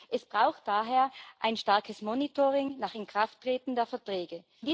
Es braucht daher ein starkes Monitoring nach Inkrafttreten der Verträge.